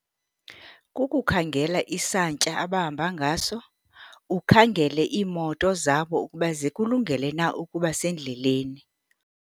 Kukhangela isantya abahamba ngaso, ukhangele iimoto zabo ukuba zikulungele na ukuba sendleleni.